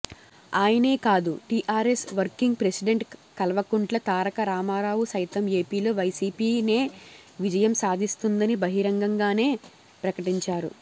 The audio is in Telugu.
ఆయనే కాదు TRS working president Kalvakuntla Taraka Ramarao సైతం ఏపీలో వైసీపీనే విజయం సాధిస్తుందని బహిరంగంగానే ప్రకటించారు